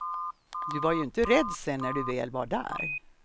Du var ju inte rädd sen när du väl var där.